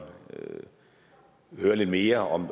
høre lidt mere om